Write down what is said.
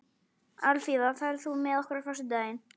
Alfífa, ferð þú með okkur á föstudaginn?